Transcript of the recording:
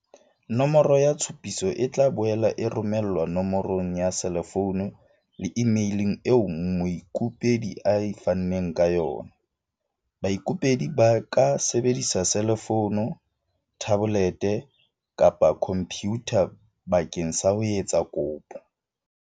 Nomoro ya tshupiso e tla boela e romelwa no morong ya selefounu le imeileng eo moikopedi a fanneng ka yona. Baikopedi ba ka sebedisa selefounu, thabolete kapa khompyutha bakeng sa ho etsa kopo.